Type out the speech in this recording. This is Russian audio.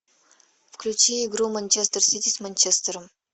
включи игру манчестер сити с манчестером